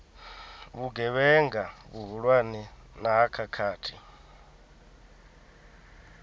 vhugevhenga vhuhulwane na ha khakhathi